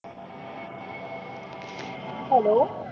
hello